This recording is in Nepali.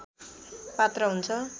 पात्र हुन्छ